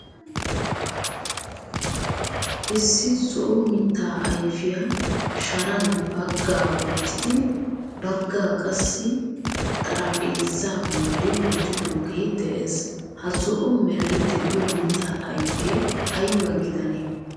Issi zo'o mitta ayfiyaa sharan baggaa woottidi baggaa qassi xaraphphezza bolli wottidoge de'ees. Ha zo'o meray de'iyo mitta ayfe ayba gidane?